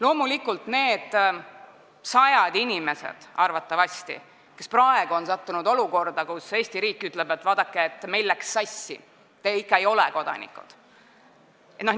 Arvatavasti on sajad inimesed praegu sattunud olukorda, kus Eesti riik ütleb, et vaadake, meil läks sassi, te ikka ei ole kodanikud.